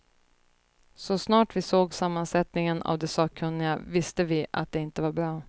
Så snart vi såg sammansättningen av de sakkunniga visste vi att det inte var bra.